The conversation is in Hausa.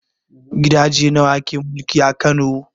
Gidaje nawa ke mulki a Kano?